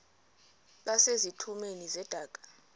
base zitulmeni zedaka